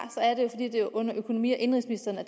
er det under økonomi og indenrigsministeren at